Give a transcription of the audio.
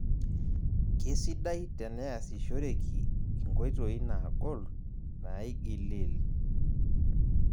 Kesidai teaneasishoreki enkoitoi nagol, naigiliil